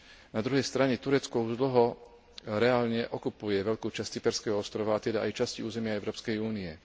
Na druhej strane Turecko už dlho reálne okupuje veľkú časť cyperského ostrova, a teda aj časti územia Európskej únie.